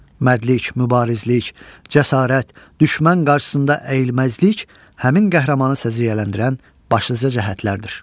Mərdlik, mübarizlik, cəsarət, düşmən qarşısında əyilməzlik həmin qəhrəmanı səciyyələndirən başlıca cəhətlərdir.